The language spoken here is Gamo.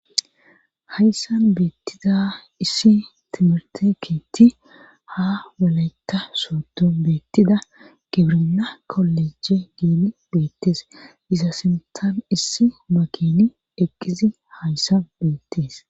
hayssan beettiza issi timirte keetti ha waleta soodo beettida gibrina koleje geeni beettes iza sintan issi makini eqqizi hayssan beettees